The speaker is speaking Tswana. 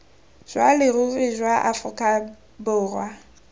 jwa leruri jwa aforika borwa